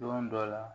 Don dɔ la